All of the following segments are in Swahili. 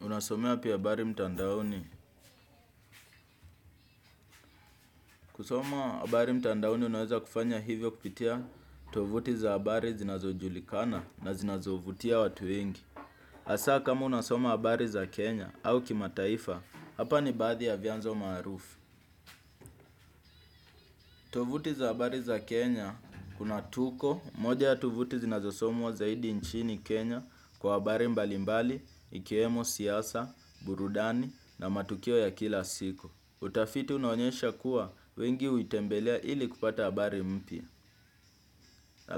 Unasomea wapi habari mtandaoni. Kusoma habari mtandaoni unaweza kufanya hivyo kupitia tovuti za habari zinazojulikana na zinazovutia watu wengi. Hasa kama unasoma habari za Kenya au kimataifa, hapa ni baadhi ya vyanzo maarufu. Tovuti za habari za Kenya kuna tuko moja ya tovuti zinazosomwa zaidi nchini Kenya kwa habari mbalimbali, ikiwemo siasa, burudani na matukio ya kila siku. Utafiti unaonyesha kuwa wengi huitembelea ili kupata habari mpya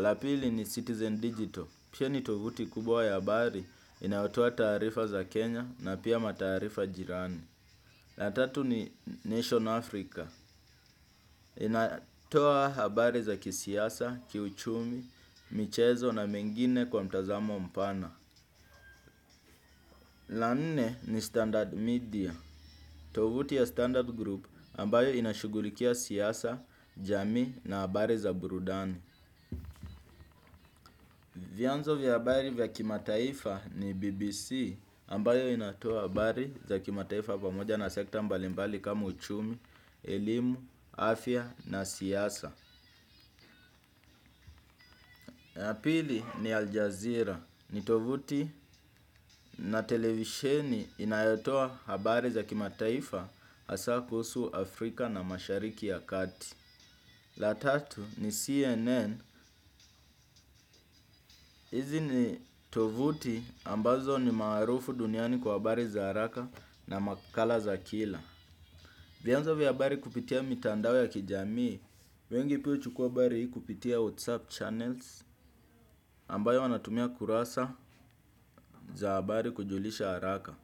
ya pili ni Citizen Digital pia ni tovuti kubwa ya habari inayotoa taarifa za Kenya na pia mataifa jirani. La tatu ni Nation Africa. Inatoa habari za kisiasa, kiuchumi, michezo na mengine kwa mtazamo mpana. La nne ni Standard Media. Tovuti ya Standard Group ambayo inashugulikia siasa, jamii na habari za burudani. Vyanzo vya habari vya kimataifa ni BBC ambayo inatoa habari za kimataifa pamoja na sekta mbalimbali kama uchumi, elimu, afya na siasa la pili ni Aljazeera ni tovuti na televisheni inayotoa habari za kimataifa hasa kuhusu Afrika na mashariki ya kati. La tatu ni CNN, hizi ni tovuti ambazo ni maarufu duniani kwa habari za haraka na makala za kila. Vyanzo vya habari kupitia mitandao ya kijamii, wengi pia huchukua habari kupitia WhatsApp channels ambayo wanatumia kurasa za habari kujulisha haraka.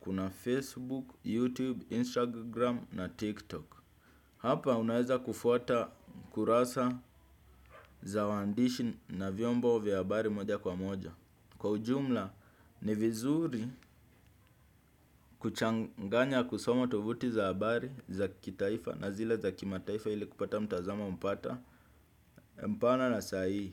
Kuna Facebook, YouTube, Instagram na TikTok. Hapa unaweza kufuata kurasa za wandishi na vyombo vya habari moja kwa moja. Kwa ujumla ni vizuri kuchanganya kusoma tovuti za habari za kitaifa na zile za kimataifa ili kupata mtazamo mpana. Mpana na sahihi.